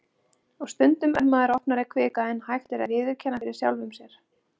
Og stundum er maður opnari kvika en hægt er að viðurkenna fyrir sjálfum sér.